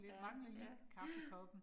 Ja ja ja